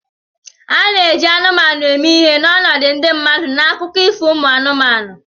A na-eji anụmanụ eme ihe n'ọnọdụ ndị mmadụ n'akụkọ ifo umu anụmanụ